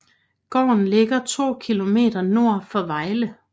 Gården ligger 2 km nord for Vejle